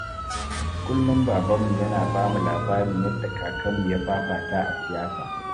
Kullum Babanmu yana ba mu labarin yadda Kakanmu ya fafata a siyasa